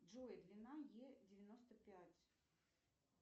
джой длина е девяносто пять